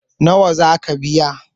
nawa ka biya?